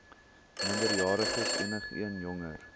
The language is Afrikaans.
minderjariges enigeen jonger